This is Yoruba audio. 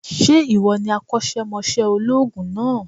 Sé ìwọ ni akósémosé olóòògùn náà